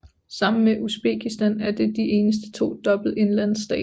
Sammen med Uzbekistan er det de eneste to dobbelte indlandsstater